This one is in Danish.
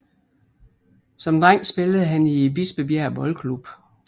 Som dreng spillede han i Bispebjerg Boldklub